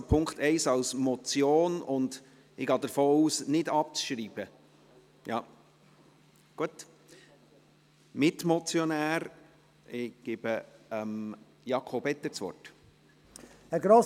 Gehe ich richtig in der Annahme, dass wir über den Punkt 1 als Motion abstimmen und ohne abzuschreiben?